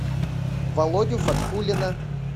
володю фаткуллина